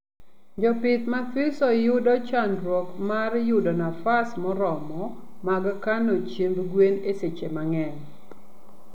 Jopith mathiso yudo chandruok mar yudo nafa moromo mag kno chiemb gwen e seche mangeny